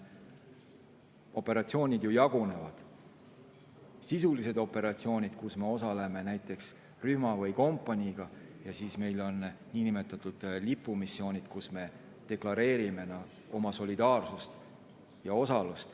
Operatsioonid jagunevad nii: sisulised missioonid, kus me osaleme näiteks rühma või kompaniiga, ja siis niinimetatud lipumissioonid, kus me osalemisega deklareerime oma solidaarsust.